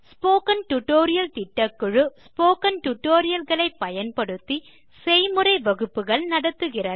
spoken tutorial திட்டக்குழு spoken tutorial களை பயன்படுத்தி செய்முறை வகுப்புகள் நடத்துகிறது